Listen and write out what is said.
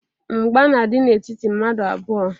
Mgba na-adị n'etiti mmadụ n'abụọ.